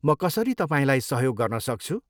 म कसरी तपाईँलाई सहयोग गर्न सक्छु?